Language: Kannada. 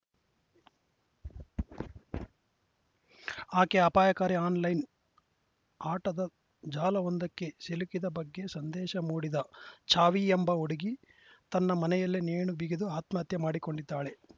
ಆಕೆ ಅಪಾಯಕಾರಿ ಆನ್‌ಲೈನ್‌ ಆಟದ ಜಾಲವೊಂದಕ್ಕೆ ಸಿಲುಕಿದ ಬಗ್ಗೆ ಸಂದೇಶ ಮೂಡಿದೆ ಛವಿ ಎಂಬ ಹುಡುಗಿ ತನ್ನ ಮನೆಯಲ್ಲೇ ನೇಣು ಬಿಗಿದು ಆತ್ಮಹತ್ಯೆ ಮಾಡಿಕೊಂಡಿದ್ದಾಳೆ